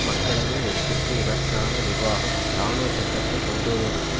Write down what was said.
மக்களது வெறுப்பிற்கு இலக்கான நிர்வாகம் இராணுவச்சட்டத்தை கொண்டுவருவதற்கு